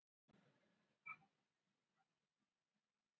Almennt gildir að óheimilt er að flytja villt eða hálfvillt dýr til landsins.